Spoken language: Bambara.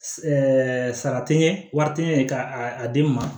sara tɛ ɲɛ wari tɛ ɲɛ ka a di n ma